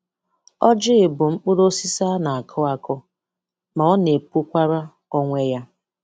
Ọ́jị bụ mkpụrụọ́sísi a na-akụ àkù, ma ọ na-epụkwara onwe ya.